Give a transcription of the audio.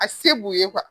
A se b'u ye